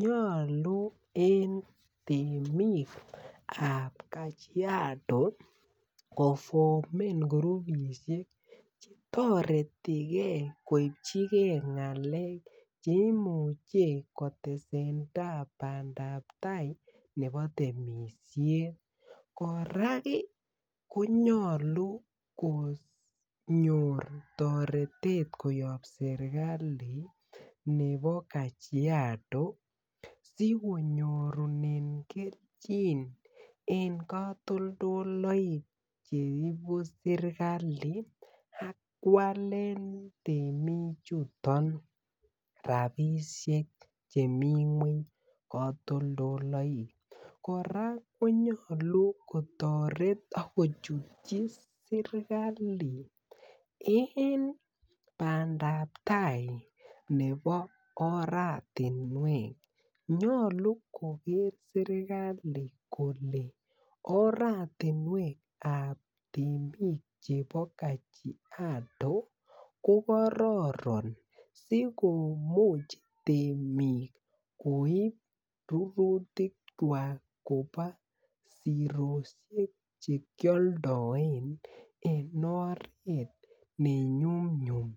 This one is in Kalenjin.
Nyolu en temik ab kajiado kofomen kurubisiek toretigee ngalek koibchi gee ngalek cheimuche koresendai bandabtai nebo temisiet kora ik konyalu konyor toretet kobun serikali nebo kajiado sikonyorunen kelchin en katoldoloik cheibuserikali ak walu temik chuton rapisiek chemi ngwany katoldoloik kora konyalu kotoret akojutyi serikali en bandabtai nebo oratinwek nyolu koger serikali kole oratinwek ab temik chebo kajiado kokaroron sikomuch temik koib rugutik kwak kobo sirosiek chekioldoen oret nenyumnyum